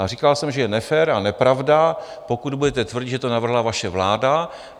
Ale říkal jsem, že je nefér a nepravda, pokud budete tvrdit, že to navrhla vaše vláda.